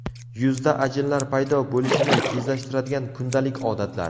Yuzda ajinlar paydo bo‘lishini tezlashtiradigan kundalik odatlar.